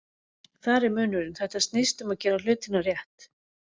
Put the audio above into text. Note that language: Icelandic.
Þar er munurinn, þetta snýst um að gera hlutina rétt.